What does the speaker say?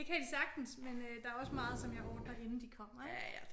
Det kan de sagtens men øh der er også meget som jeg ordner inden de kommer ik?